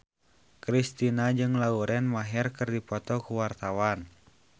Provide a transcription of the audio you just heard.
Kristina jeung Lauren Maher keur dipoto ku wartawan